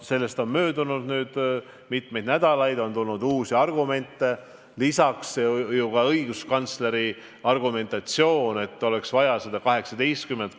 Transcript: Sellest on nüüd möödunud mitu nädalat, on tulnud uusi argumente, sh õiguskantsleri argumendid, et oleks vaja 18 kuud.